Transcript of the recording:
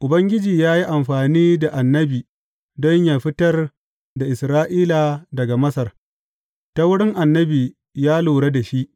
Ubangiji ya yi amfani da annabi don yă fitar da Isra’ila daga Masar ta wurin annabi ya lura da shi.